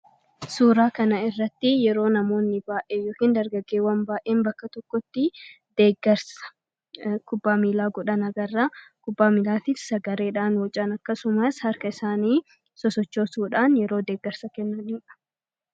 Suuraa kana irratti yeroo namoonni baay'ee yookiin dargageewwan baay'een bakka tokkotti deeggarsa kubbaa miilaa godhan agarra kubbaa miillaatif sagaleedhaan wacaan akkasumaas harka isaanii sosochoo suudhaan yeroo deeggarsa kennaniidha.